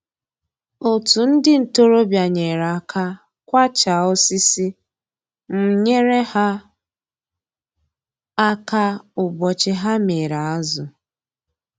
Otu ndị ntoroọbịa nyere aka kwachaa osisi, m nyere ha aka ụbọchị ha mịrị azụ